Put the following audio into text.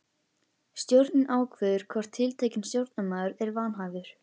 Stjórnin ákveður hvort tiltekinn stjórnarmaður er vanhæfur.